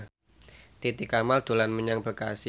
Titi Kamal dolan menyang Bekasi